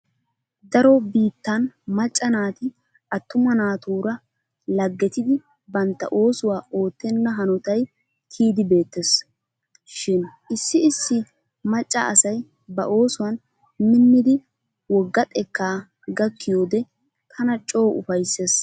Daro biittan macca naati attuma naatuura laggetidi bantta oosuwa oottenna hanotay kiyidi beettees. Shin issi issi macca asay ba oosuwan minnidi wogga xekkaa gakkiyode tana coo ufayssees.